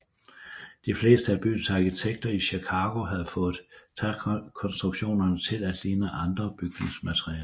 De fleste af byens arkitekter i Chicago havde fået trækonstruktionerne til at ligne andre bygningsmaterialer